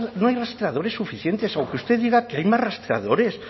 no hay rastreadores suficientes aunque usted diga que hay más rastreadores